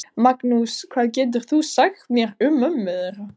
Magnús: Hvað getur þú sagt mér um mömmu þeirra?